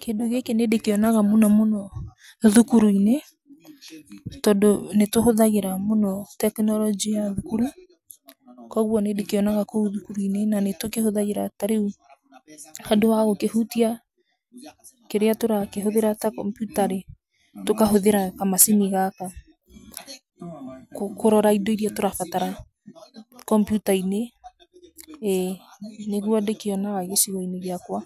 Kĩndũ gĩkĩ nĩ ndĩkĩonaga mũno mũno thukuru-inĩ, tondũ nĩ tũhũthagĩra mũno tekinoronjĩ ya thukuru, kwoguo nĩ ndĩkĩonaga kũu thukuru-inĩ na nĩ tũkĩhũthagĩra. Ta rĩu handũ ha gũkĩhutia kĩrĩa tũrakĩhũthĩra ta kompiuta rĩ, tũkahũthĩra kamacini gaka kũrora indo iria tũrabatara kompiuta-inĩ, ĩ. Nĩguo ndĩkĩonaga gĩcigo-inĩ gĩakwa